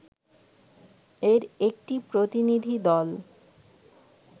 এর একটি প্রতিনিধি দল